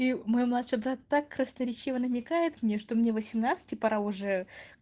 и мой младший брат так красноречиво намекает мне что мне восемнадцать и пора уже